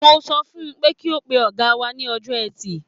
Mo sọ fun pé kí ó pe ọ̀gá wa ní Ọjọ́ẹtì.